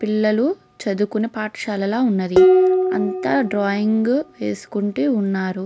పిల్లలు చదువుకునే పాఠశాల లా ఉన్నది అంతా డ్రాయింగ్ వేసుకుంటూ ఉన్నారు.